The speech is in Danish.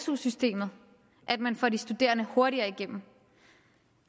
su systemet at man får de studerende hurtigere igennem